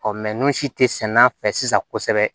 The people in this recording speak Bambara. Ɔ n'u si tɛ sɛnɛ a fɛ sisan kosɛbɛ